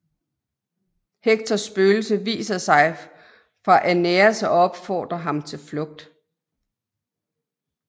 Hektors spøgelse viser sig for Æneas og opfordrer ham til flugt